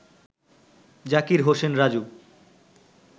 Zakir Hossain Raju